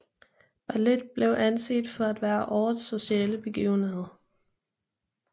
Ballet blev anset for at være årets sociale begivenhed